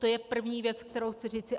To je první věc, kterou chci říci.